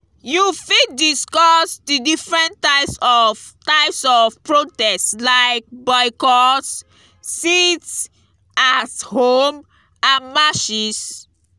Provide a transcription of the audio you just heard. you fit discuss di different types of types of protest like boycotts sit-at-home and marches.